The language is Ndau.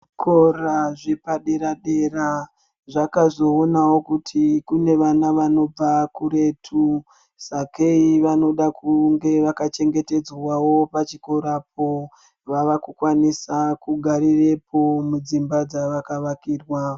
Zvikora zvepadera dera zvaka zoonawo kuti kune vana vanobva kuretu, sakei vanoda kunge vaka chengetedzwawo pachikorapo vavaku kwanisa kugarirepo mudzimba dzavakavakirwa.